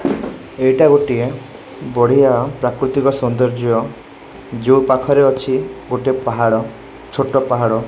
ଏଇଟା ଗୋଟିଏ ବଢିଆ ପ୍ରାକୃତିକ ସୋନ୍ଦର୍ଯ୍ୟ ଯୋଉ ପାଖରେ ଅଛି ଗୋଟେ ପାହାଡ ଛୋଟ ପାହାଡ।